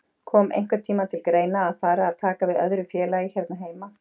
Kom einhvern tíma til greina að fara að taka við öðru félagi hérna heima?